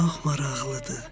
Bu çox maraqlıdır.